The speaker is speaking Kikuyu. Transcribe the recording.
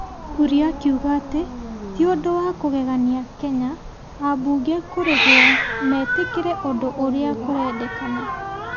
Kuria akiuga atĩ ti ũndũ wa kũgegania Kenya ambunge kũrĩhwo mĩtĩkĩrĩ ũndũ ũrĩa kũrendekana,